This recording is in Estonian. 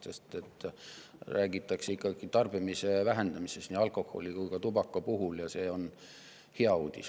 Nii alkoholi kui ka tubaka puhul räägitakse tarbimise vähenemisest, ja see on hea uudis.